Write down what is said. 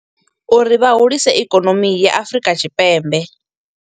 Uri vhahulise ikonomi ya Afurika Tshipembe.